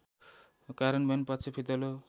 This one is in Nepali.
कार्यन्वयन पक्ष फितलो